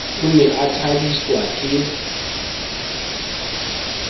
o ne a thabiswa ke